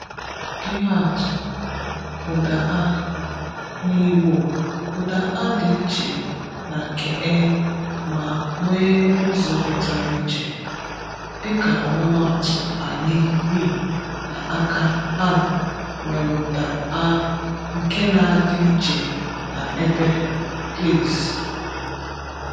Ihe atụ: Ụ̀dà “a”: Na Igbo, ụ̀dà “a” dị iche na nke “e” ma nwee ụzọ pụtara iche. Dịka ọmụmaatụ, “ànyị” (we) na “àkà” (hand) nwere ụ̀dà “a” nke na-adị iche na “ébé” (place).